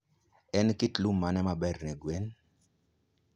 En kit lum mane maber ne gwen?